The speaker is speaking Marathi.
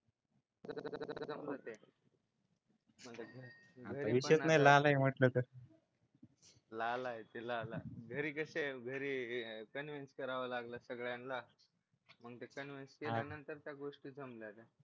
असं जमलं ते विशेष नाही लाला आहे म्हटलं तर लाला आहे ते लाला घरी कशी आहे घरी कन्व्हेन्स करावा लागल सगळ्यांना मग ते कन्व्हेन्स केल्यानंतर त्या गोष्टी जमल्या